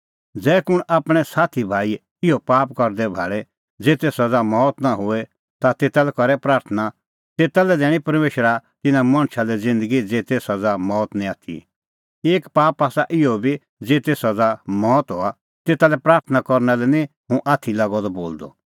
ज़ै कुंण आपणैं साथीभाई इहअ पाप करदै भाल़े ज़ेते सज़ा मौत नां होए ता तेता लै करै प्राथणां तेता लै दैणीं परमेशरा तिन्नां मणछा लै ज़िन्दगी ज़ेते सज़ा मौत निं आथी एक पाप आसा इहअ बी ज़ेते सज़ा मौत हआ तेता लै प्राथणां करना लै निं हुंह आथी लागअ द बोलदअ